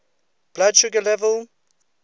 blood sugar level